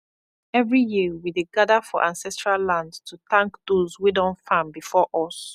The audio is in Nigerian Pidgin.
every year we dey gather for ancestral land to thank those wey don farm before us